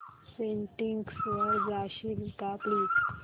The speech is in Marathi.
सेटिंग्स वर जाशील का प्लीज